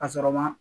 A sɔrɔ ma